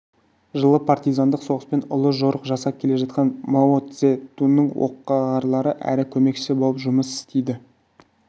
жылы партизандық соғыспен ұлы жорық жасап келе жатқан мао-цзе-дунның оққағары әрі көмекшісі болып жұмыс істейді